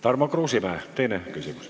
Tarmo Kruusimäe, teine küsimus.